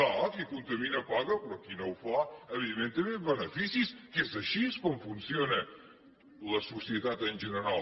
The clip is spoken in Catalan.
clar qui contamina paga però qui no ho fa evidentment té més beneficis que és així com funciona la societat en general